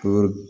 Ko